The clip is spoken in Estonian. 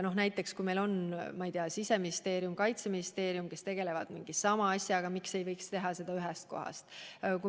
Kui näiteks Siseministeerium ja Kaitseministeerium tegelevad mingi sama asjaga, siis miks ei võiks teha seda ühes kohas?